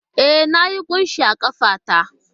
E, Na yi kunshi a ƙafa ta